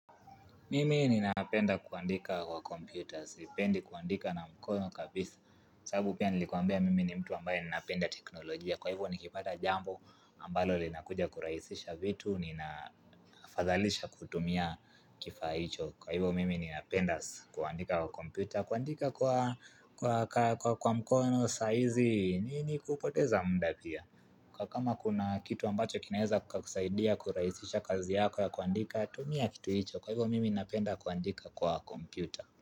Mimi ninapenda kuandika kwa computers, sipendi kuandika na mkono kabisa sababu pia nilikuambia mimi ni mtu ambaye ninapenda teknolojia kwa hivyo nikipata jambo ambalo linakuja kuraisisha vitu, ninafadhalisha kutumia kifaa hicho Kwa hivyo mimi ninapenda kuandika kwa computer, kuandika kwa mkono saizi, nini kupoteza mda pia Kwa kama kuna kitu ambacho kinaeza kusaidia kurahisisha kazi yako ya kuandika, tumia kitu hicho Kwa hivyo mimi napenda kuandika kwa kompyuta.